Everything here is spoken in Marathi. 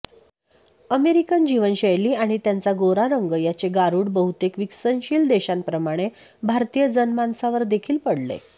अमेरिकन जीवनशैली आणि त्यांचा गोरा रंग याचे गारूड बहुतेक विकसनशील देशांप्रमाणे भारतीय जनमानसावरदेखील पडले